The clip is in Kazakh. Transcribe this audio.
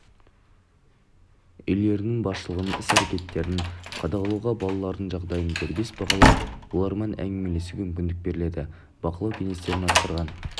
үйлерінің басшылығының іс-әрекеттерін қадағалауға балалардың жағдайын дербес бағалап олармен әңгімелесуге мүмкіндік беріледі бақылау кеңестерінің атқарған